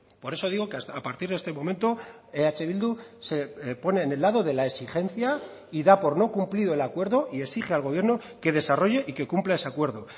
por eso digo que a partir de este momento eh bildu se pone en el lado de la exigencia y da por no cumplido el acuerdo y exige al gobierno que desarrolle y que cumpla ese acuerdo